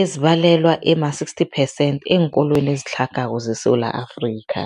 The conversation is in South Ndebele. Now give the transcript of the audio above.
ezibalelwa ema-60 phesenthi eenkolweni ezitlhagako zeSewula Afrika.